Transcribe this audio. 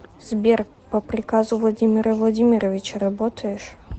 сбер по приказу владимира владимировича работаешь